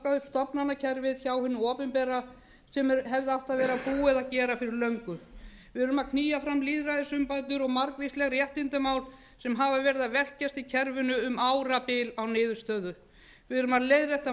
stofnanakerfið hjá hinu opinbera sem hefði átt að vera búið að gera fyrir löngu við erum að knýja fram lýðræðisumbætur og margvísleg réttindamál sem hafa velkst í kerfinu um árabil án niðurstöðu við erum að leiðrétta